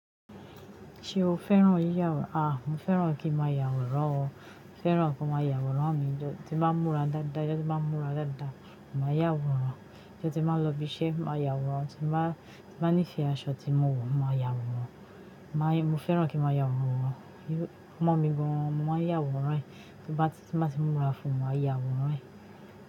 Ṣé o fẹ́ràn yíya àwòrán? Mo fẹ́ràn kí máa ya àwòrán o. Fẹ́ràn kí máa ya àwòrán mi. Tímbá múra dáadáa, tímbá múra dáadáa, máa yà àwòrán. Tí mó ba ti máa lọ ibi iṣẹ́, máa ya àwòrán. Tímbá ní ife aṣọ tí mo wọ̀, máa ya àwòrán. Mo fẹ́ràn kín máa ya àwòrán. Ọmọ mi gan, mo máa yà àwòrán ẹ́. Tímba ti múra fún mi, máa ya àwòrán ẹ́